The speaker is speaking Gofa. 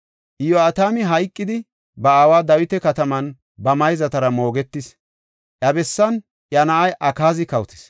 Iyo7atami hayqidi, ba aawa Dawita Kataman ba mayzatara moogetis; iya bessan iya na7ay Akaazi kawotis.